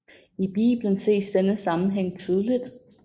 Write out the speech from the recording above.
I Bibelen ses denne sammenhæng tydeligt